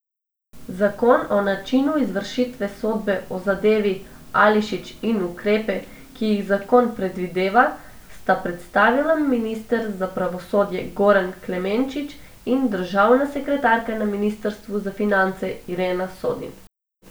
Zakon o načinu izvršitve sodbe v zadevi Ališić in ukrepe, ki jih zakon predvideva, sta predstavila minister za pravosodje Goran Klemenčič in državna sekretarka na ministrstvu za finance Irena Sodin.